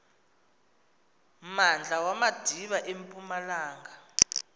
mmandla wamadiba empumalanga